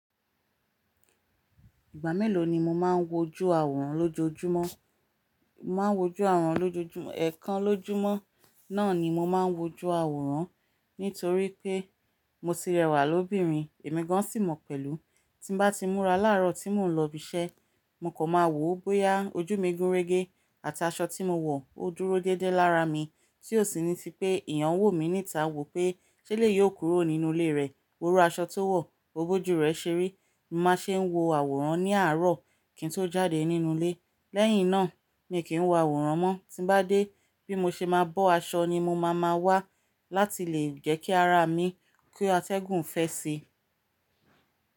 Ìgbà mélòó ni mo máa ń wojú àwòrán lójoojúmọ́? Mo máa ń wojú àwòrán lójoojúmọ́, ẹ̀ẹ̀kan lójúmọ́ náà ni mo máa ń wojú àwòrán. Nítorí pé mo ti rẹwà lóbìnrin, èmi gan sí mọ̀ pẹ̀lú. Tí bá ti múra láàárọ̀ tí mò ń lọ ibi iṣẹ́, mo kàn máa wò ó bóyá ojú mi gúnrégé àti aṣọ tí mo wọ̀ ó dúró déédéé lára mi. Tí ò sì ni ti pé eeyàn wò mí níta wò pé ṣé ẹ̀leyi ò kúrò nínú ilé rẹ̀. Wòrú aṣọ tó wọ̀, wo b'ojú rẹ̀ ṣeré. Mo máa ṣe ń wo àwòrán ní àárọ̀ kí n tó jáde nínú ilé. Lẹ́yìn náà, mi kì í wo àwòrán mọ́. Tí bá dé bí mo ṣe máa bọ́ aṣọ ni mo máa ma wá láti lè jẹ́ kí ara mi kú atẹ́gùn-fẹ́ ṣe.